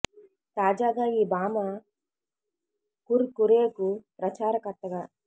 తాజాగా ఈ భామ కుర్ కురే కు ప్రచార కర్త గా